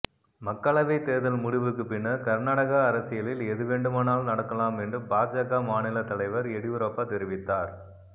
மக்களவைத் தேர்தல் முடிவுக்குப் பின்னர் கர்நாடக அரசியலில் எதுவேண்டுமானாலும் நடக்கலாம் என்று பாஜக மாநிலத் தலைவர் எடியூரப்பா தெரிவித்தார்